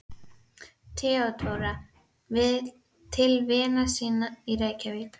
THEODÓRA: Til vina sinna í Reykjavík.